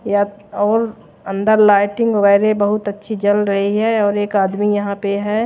यत और अंदर लाइटिंग वगैरे बहुत अच्छी जल रही है और एक आदमी यहां पे है।